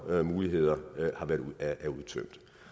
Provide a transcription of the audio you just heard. muligheder er udtømt